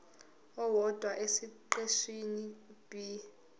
owodwa esiqeshini b